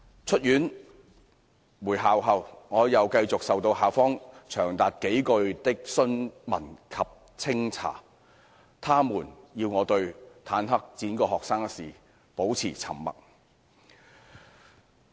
出院回校後，我又繼續受到校方長達數個月的詢問及清查，他們要我對坦克輾過學生一事保持沉默。